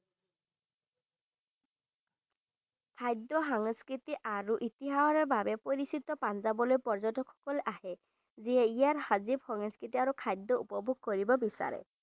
খাদ্য সাংস্কৃতি আৰু ইতিহাসৰ বাবে পৰিচিত পাঞ্জাৱলে পৰ্যটক সকল আহে যিয়ে ইয়াৰ সাজিব সাংস্কৃতি আৰু খাদ্য উপভোগ কৰিব বিচাৰে।